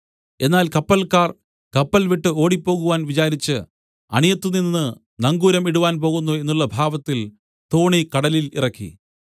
എന്നാൽ കപ്പൽക്കാർ കപ്പൽ വിട്ട് ഓടിപ്പോകുവാൻ വിചാരിച്ച് അണിയത്തുനിന്ന് നങ്കൂരം ഇടുവാൻ പോകുന്നു എന്നുള്ള ഭാവത്തിൽ തോണി കടലിൽ ഇറക്കി